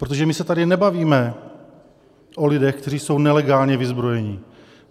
Protože my se tady nebavíme o lidech, kteří jsou nelegálně vyzbrojeni.